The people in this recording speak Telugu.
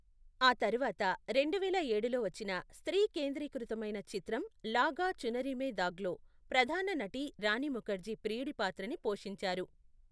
ఆ తర్వాత రెండువేల ఏడులో వచ్చిన స్త్రీ కేంద్రీకృతమైన చిత్రం లాగా చునరి మే దాగ్లో ప్రధాన నటి రాణి ముఖర్జీ ప్రియుడి పాత్రని పోషించారు.